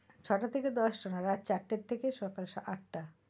ছটা থেকে দশটা না রাত চারটের থেকে সকাল আট টা,